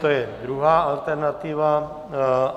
To je druhá alternativa.